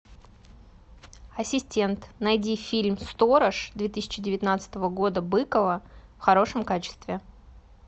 ассистент найди фильм сторож две тысячи девятнадцатого года быкова в хорошем качестве